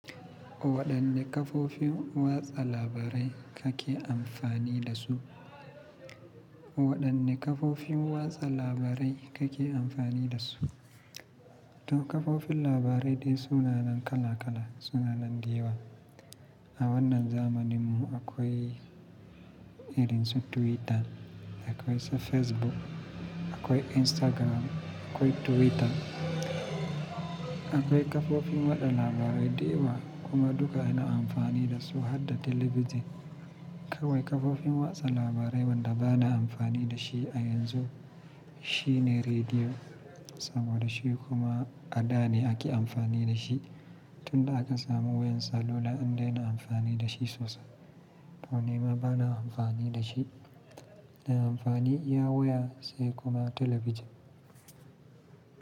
Waɗanne kafofin watsa labarai kake amfani da su? Waɗanne kafofin watsa labarai kake amfani da su? To kafofin labarai dai sunanan kala kala, sunanan da yawa. A wannan zamanin mu akwai irin su Twitter, akwai se Facebook, akwai Instagram, akwai Twitter. Akwai kafofin watsa labarai dayawa kuma duka ina amfani da su harda talabijin. Akwai kafofin watsa labarai wanda bana amfani da shi a yanzu shine rediyo saboda shi kuma a da ne ake amfani da shi tun da aka samu wayan salula'an dai ina amfani da shi sosai. To nima bana amfani da shi, ina amfani iya waya sai kuma talabijin.